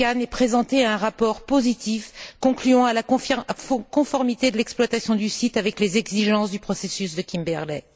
Chikane ait présenté un rapport positif concluant à la conformité de l'exploitation du site avec les exigences du processus de Kimberley.